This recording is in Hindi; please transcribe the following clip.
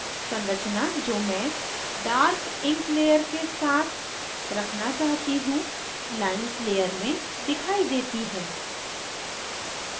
संरचना जो मैं dark ink layer के साथ रखना चाहती हूँ lines layer में दिखाई देती है